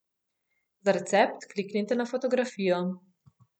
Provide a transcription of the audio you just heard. Za recept kliknite na fotografijo.